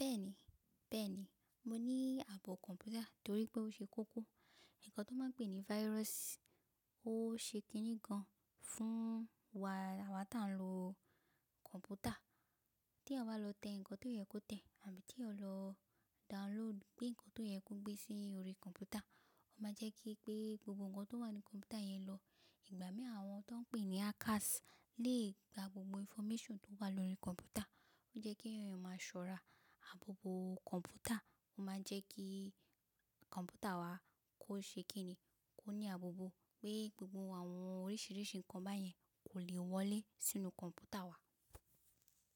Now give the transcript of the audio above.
Bẹ́ẹ̀ni, bẹ́ẹ̀ni mo ní ààbò kọ̀mpútà torí pé ó ṣe kókó. Nnkan tó máa ń pe ní virus ó ṣe kiní gan fún wa, àwá ta ń lo kọ̀mpútà. Tí ẹeyan lọ tẹ nnkan tó yẹ kó tẹ̀ àbí tí ẹeyan lọ download gbé nnkan tó yẹ kó gbé sí orí kọ̀mpútà, ó máa jẹ́ kí pé gbogbo ǹkan tó wà ní kọ̀mpútà yẹn lọ. Ìgbà mí àwọn tó ń pè ní hackers lè gba gbogbo information tó wà lórí kọ̀mpútà. Ó jẹ́ kí ẹ̀yàn máa ṣọ́ra. Abobo kọ̀mpútà ó máa ń jẹ́ kí kọ̀mpútà wa kó ṣe kíni, kó ní abobo pé gbogbo àwọn oríṣìíríṣìí ǹkan báyẹn kò lè wọlé sínú kọ̀mpútà wa.